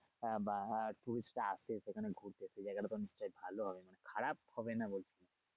আহ বা হ্যা tourist রা আসে সেখানে ঘুরতে সে জায়গাটা তো অনেক টা ভালো হয় খারাপ হবে না বলছি।